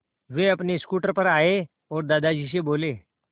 वे अपने स्कूटर पर आए और दादाजी से बोले